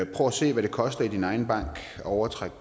prøv at se hvad det koster at overtrække